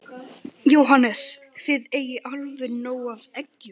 Jóhannes: Þið eigið alveg nóg af eggjum?